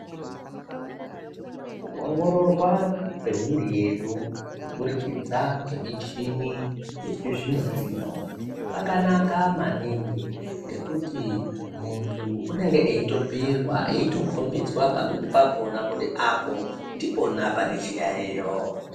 Kuongororwa kwemiri yedu kuburikidza kwemichini yechizvino zvino kwakanaka maningi ngekuti muntu unenge eitobhiirwa eitokombidzwa pamweni pakona kuti apo ndipona pane chiyayiyo.